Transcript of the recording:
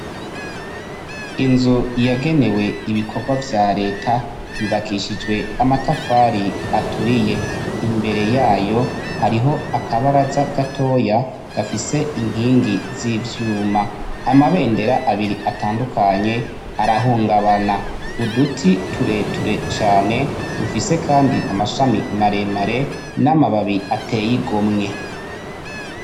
Inzu yagenewe ibikorwa vya Reta yubakishijwe amatafari aturiye, imbere yayo hariho akabaraza gatoya gafise inkingi z’ivyuma, amabendera abiri atandukanye arahungabana uduti tureture cane dufise kandi amashami maremare n’amababi ateye igomwe.